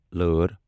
لأر